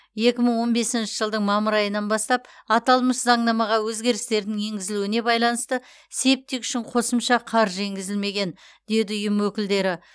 екі мың он бесінші жылдың мамыр айынан бастап аталмыш заңнамаға өзгерістердің енгізілуіне байланысты септик үшін қосымша қаржы енгізілмеген деді ұйым өкілдері